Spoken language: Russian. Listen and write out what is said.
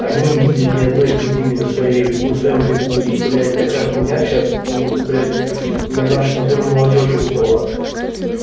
они не видели ни одной эпидемии на своей на своём веку и блядь такая хуйня сейчас ну блядь на наш на долю молодёжи выпала